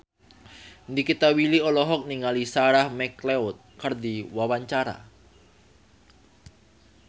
Nikita Willy olohok ningali Sarah McLeod keur diwawancara